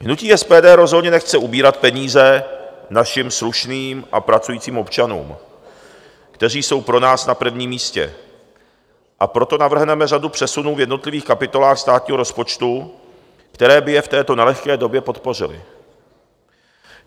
Hnutí SPD rozhodně nechce ubírat peníze našim slušným a pracujícím občanům, kteří jsou pro nás na prvním místě, a proto navrhneme řadu přesunů v jednotlivých kapitolách státního rozpočtu, které by je v této nelehké době podpořily.